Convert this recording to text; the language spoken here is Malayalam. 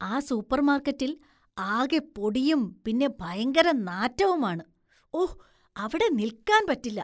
ആ സൂപ്പര്‍മാര്‍ക്കറ്റില്‍ ആകെ പൊടിയും പിന്നെ ഭയങ്കര നാറ്റവുമാണ്, ഓ, അവിടെ നില്‍ക്കാന്‍ പറ്റില്ല.